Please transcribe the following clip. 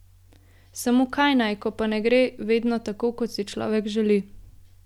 Samo kaj naj, ko pa ne gre vedno tako, kot si človek želi.